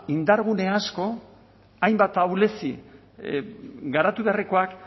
indargune asko hainbat ahulezia garatu beharrekoak